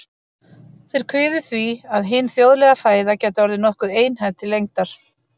Þeir kviðu því, að hin þjóðlega fæða gæti orðið nokkuð einhæf til lengdar.